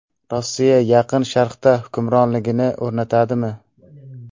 Rossiya Yaqin Sharqda hukmronligini o‘rnatadimi?